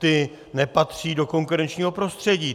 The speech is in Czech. Ty nepatří do konkurenčního prostředí.